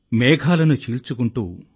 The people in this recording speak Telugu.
మేఘాలను చీల్చుకుంటూ